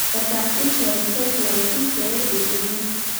Etasishore Setlaiti pee ejuro.